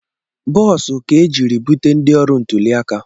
Boosu ka e jiri bute ndị ọrụ ntụliaka